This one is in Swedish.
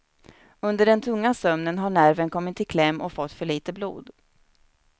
Under den tunga sömnen har nerven kommit i kläm och fått för lite blod.